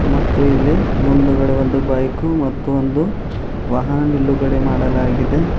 ಮತ್ತು ಇಲ್ಲಿ ಮುಂದುಗಡೆ ಒಂದು ಬೈಕು ಮತ್ತು ಒಂದು ವಾಹನ ನಿಲುಗಡೆ ಮಾಡಲಾಗಿದೆ.